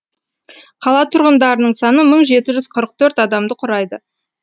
қала тұрғындарының саны мың жеті жүз қырық төрт адамды құрайды